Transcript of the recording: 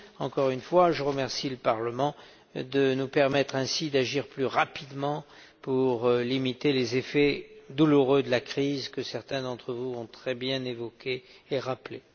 Encore une fois, je remercie le Parlement de nous permettre ainsi d'agir plus rapidement pour limiter les effets douloureux de la crise, que certains d'entre vous ont très bien évoqués et rappelés.